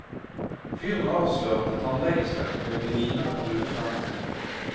Fyren avslørte tannlegeskrekk ved å grine med brune tenner.